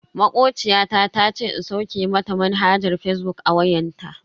Makociya ta tace in sauke mata manhajar fazbuk a wayanta.